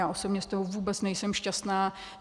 Já osobně z toho vůbec nejsem šťastná.